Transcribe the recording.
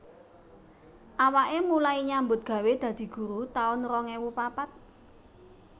Awake mulai nyambut gawe dadi guru taun rong ewu papat